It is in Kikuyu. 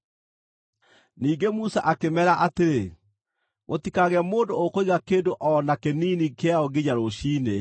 Ningĩ Musa akĩmeera atĩrĩ, “Gũtikagĩe mũndũ ũkũiga kĩndũ o na kĩnini kĩayo nginya rũciinĩ.”